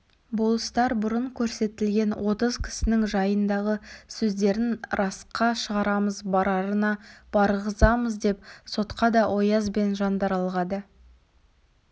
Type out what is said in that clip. болыстар бұрын көрсетілген отыз кісінің жайындағы сөздерін расқа шығарамыз барарына барғызамыз деп сотқа да ояз бен жандаралға да